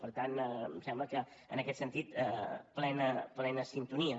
per tant em sembla que en aquest sentit plena sintonia